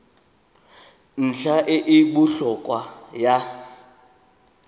ntlha e e botlhokwa ya